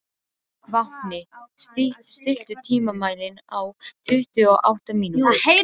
Vápni, stilltu tímamælinn á tuttugu og átta mínútur.